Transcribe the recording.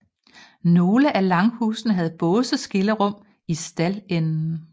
Nogle af langhusene havde båseskillerum i staldenden